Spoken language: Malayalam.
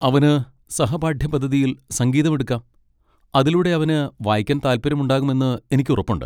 അവന് സഹപാഠ്യപദ്ധതിയിൽ സംഗീതം എടുക്കാം, അതിലൂടെ അവന് വായിക്കാൻ താൽപ്പര്യമുണ്ടാകുമെന്ന് എനിക്ക് ഉറപ്പുണ്ട്.